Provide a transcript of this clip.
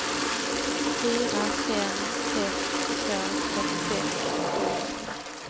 fyra fem sex två trettiosex sjuhundra